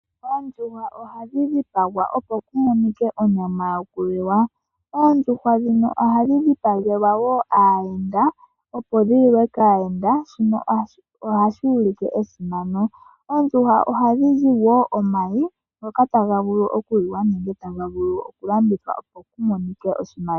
Oondjuhwa ohadhi dhipagwa, opo ku monike onyama yokuliwa. Oondjuhwa ndhika ohadhi dhipagelwa wo aayenda, opo dhi liwe kaayenda. Shika ohashi ulike esimano. Koondjuhwa ohaku zi wo omayi ngoka taga liwa nenge taga vulu oku landithwa, opo ku monike oshimaliwa.